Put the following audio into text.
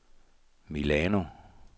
Milano